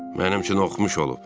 Mənim üçün oxumuş olub.